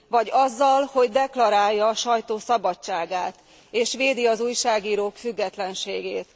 Vagy azzal, hogy deklarálja a sajtó szabadságát és védi az újságírók függetlenségét.